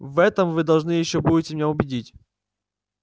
в этом вы должны ещё будете меня убедить